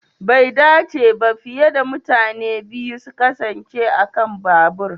Bai dace ba fiye da mutane biyu su kasance a kan babur.